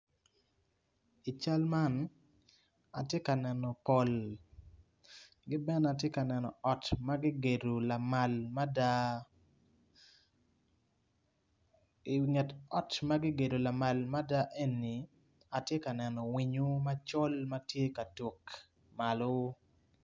I cal man tye ka neno pol ki bene atye ka neno ot ma gigedo lamala mada inget ot ma gigedo lamal mada eni atye ka neno winyo macol ma tye ka tuk malo.